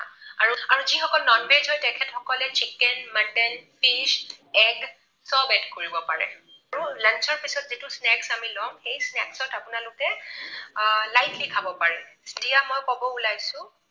আৰু, আৰু যিসকল non veg হয় তেখেতসকলে chicken, mutton, fish, egg চব add কৰিব পাৰে, আৰু lunch ৰ পিছত যিটো snacks আমি লম সেই snacks ত আপোনালোকে আ lightly খাব পাৰে। এতিয়া মই কব ওলাইছো